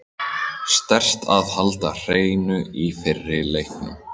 Sterkt að halda hreinu í fyrri leiknum.